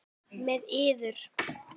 Með yður!